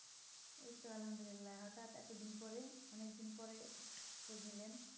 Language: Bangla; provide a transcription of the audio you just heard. এই তো আলহামদুলিল্লাহ হটাৎ এতো দিন পরে অনিক দিন পরে হলেন